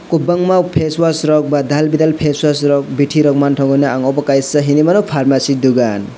kobangama face wash rok ba dal bidal face wash rok biti rok mantago hinui mano pharmacy dogan.